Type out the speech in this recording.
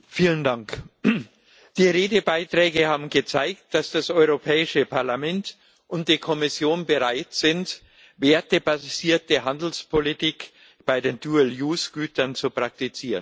Herr Präsident! Die Redebeiträge haben gezeigt, dass das Europäische Parlament und die Kommission bereit sind, eine wertebasierte Handelspolitik bei den Gütern zu praktizieren.